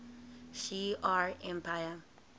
shi ar empire